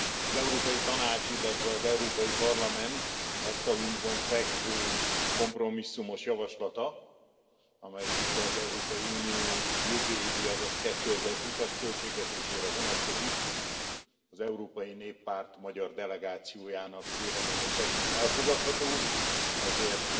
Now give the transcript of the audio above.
Az Európai Tanács, illetve az Európai Parlament asztalunkon fekvő kompromisszumos javaslata, amelyik az Európai Unió jövő évi, azaz 2020 as költségvetésére vonatkozik, az Európai Néppárt magyar delegációjának véleménye szerint elfogadható, ezért